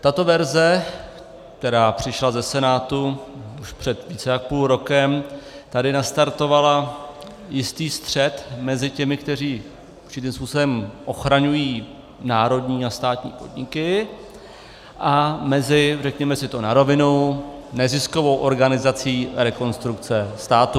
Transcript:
Tato verze, která přišla ze Senátu už před více jak půl rokem, tady nastartovala jistý střet mezi těmi, kteří určitým způsobem ochraňují národní a státní podniky, a mezi, řekněme si to na rovinu, neziskovou organizací Rekonstrukce státu.